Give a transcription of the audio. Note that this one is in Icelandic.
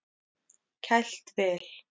Kælt vel.